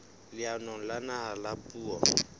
leanong la naha la puo